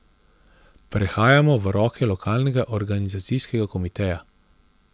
Prehajamo v roke lokalnega organizacijskega komiteja.